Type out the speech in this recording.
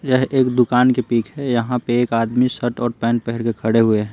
यह एक दुकान की पिक है यहाँ पे एक आदमी शर्ट और पेंट पहन के खड़े हुए हैं।